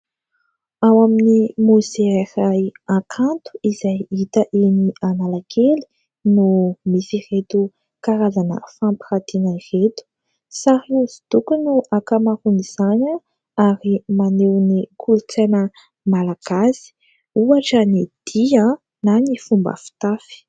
Ao amin'ny mozea iray Hakanto izay hita eny Analakely no misy ireto karazana fampirantiana ireto. Sary hosodoko no ankamaroan'izany ary maneho ny kolontsaina malagasy, ohatra ny dihy na ny fomba fitafy.